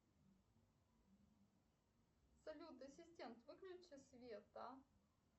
салют ассистент выключи свет а